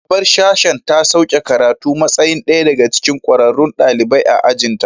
Shugabar sashen ta sauke karatu a matsayin ɗaya daga cikin ƙwararrun ɗalibai a ajin ta